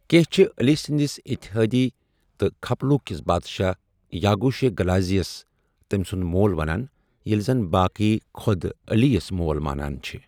کینٛہہ چھِ علی سنٛدِس اِتحٲدی تہٕ كھپلوُ كِس بادشاہ یاگو شے گلازی یس تمہِ سٗند مول ونان ، ییلہِ زن باٍقٕیہ خود علی یس مول مانان چھِ ۔